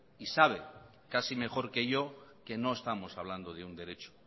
y sabe casi mejor que yo que no estamos hablando de un derecho